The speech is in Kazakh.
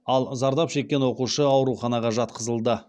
ал зардап шеккен оқушы ауруханаға жатқызылды